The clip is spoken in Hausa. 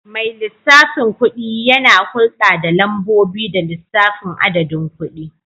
Mai lissafin kuɗi yana hulɗa da lambobi da lissafin adadin kuɗi.